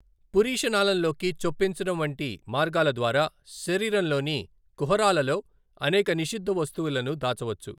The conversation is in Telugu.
పురీషనాళంలోకి చొప్పించడం వంటి మార్గాల ద్వారా శరీరంలోని కుహరాలలో అనేక నిషిద్ధ వస్తువులను దాచవచ్చు.